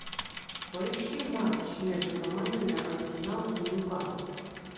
поищи матч между командами арсенал и ньюкасл